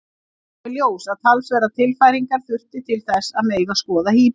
Það kom í ljós að talsverðar tilfæringar þurfti til þess að mega skoða híbýlin.